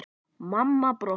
Mamma brosti.